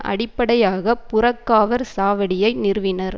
அடிப்படையாக புறக்காவற் சாவடியை நிறுவினர்